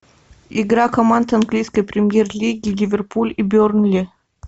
игра команд английской премьер лиги ливерпуль и бернли